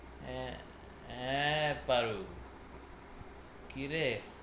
আঁ আঁ পারুল কিরে,